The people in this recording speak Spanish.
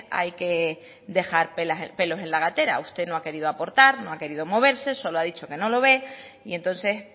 hay que dejar pelos en la gatera usted no ha querido aportar no ha querido moverse solo ha dicho que no lo ve y entonces